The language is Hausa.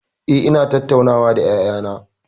Eh, ina tattauna da ƴaƴana.